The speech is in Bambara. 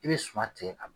I bɛ suma tigɛ a